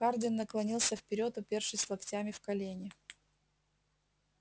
хардин наклонился вперёд упёршись локтями в колени